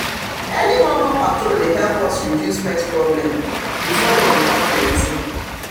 early momo patrol dey help us reduce pest problem before them come plenty